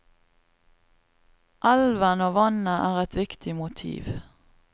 Elven og vannet er et viktig motiv.